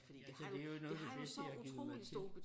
Altså det er jo noget af det bedste jeg har givet mig til